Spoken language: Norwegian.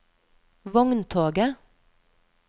vogntoget